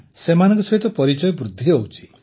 ନା ସେମାନଙ୍କ ସହିତ ପରିଚୟ ବୃଦ୍ଧି ହେଇଛି